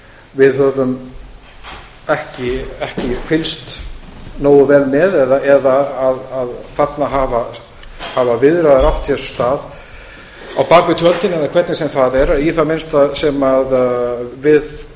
við höfum ekki fylgst nógu vel með eða þarna hafa viðræður átt sér stað á bak við tjöldin eða hvernig sem það er í það minnsta sem við